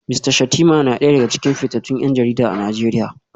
Mista Shettima na daya daga cikin fitattun 'yan jarida a Najeriya